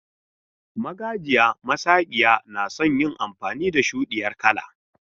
Magajiya masakiya nason yin amfani da shudiyar kala.